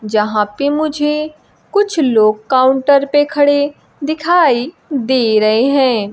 जहां पे मुझे कुछ लोग काउंटर पे खड़े दिखाई दे रहे हैं।